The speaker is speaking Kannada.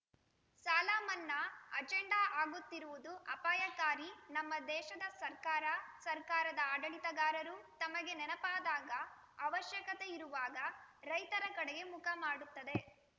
ಸಾಲಮನ್ನಾ ಅಜೆಂಡಾ ಆಗುತ್ತಿರುವುದು ಅಪಾಯಕಾರಿ ನಮ್ಮ ದೇಶದ ಸರ್ಕಾರ ಸರ್ಕಾರದ ಆಡಳಿತಗಾರರು ತಮಗೆ ನೆನಪಾದಾಗ ಅವಶ್ಯಕತೆ ಇರುವಾಗ ರೈತರ ಕಡೆಗೆ ಮುಖ ಮಾಡುತ್ತದೆ